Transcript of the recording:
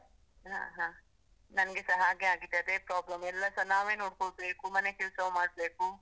ಹಾ ಹಾ, ನಂಗೆಸ ಹಾಗೇ ಆಗಿದೆ ಅದೇ problem, ಎಲ್ಲಸ ನಾವೇ ನೋಡ್ಕೋಬೇಕು, ಮನೆ ಕೆಲ್ಸವೂ ಮಾಡ್ಬೇಕು.